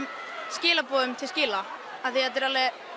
skilaboðum til skila af því þetta eru